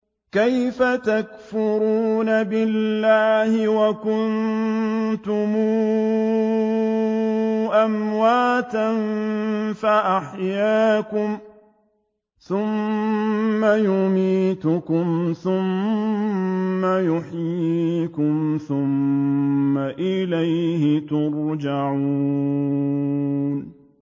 كَيْفَ تَكْفُرُونَ بِاللَّهِ وَكُنتُمْ أَمْوَاتًا فَأَحْيَاكُمْ ۖ ثُمَّ يُمِيتُكُمْ ثُمَّ يُحْيِيكُمْ ثُمَّ إِلَيْهِ تُرْجَعُونَ